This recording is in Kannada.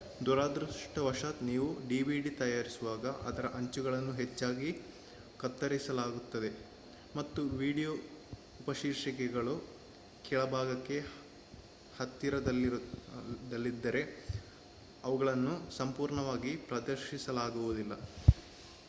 ದುರದೃಷ್ಟವಶಾತ್ ನೀವು dvd ತಯಾರಿಸುವಾಗ ಅದರ ಅಂಚುಗಳನ್ನು ಹೆಚ್ಚಾಗಿ ಕತ್ತರಿಸಲಾಗುತ್ತದೆ ಮತ್ತು ವೀಡಿಯೊ ಉಪಶೀರ್ಷಿಕೆಗಳು ಕೆಳಭಾಗಕ್ಕೆ ಹತ್ತಿರದಲ್ಲಿದ್ದರೆ ಅವುಗಳನ್ನು ಸಂಪೂರ್ಣವಾಗಿ ಪ್ರದರ್ಶಿಸಲಾಗುವುದಿಲ್ಲ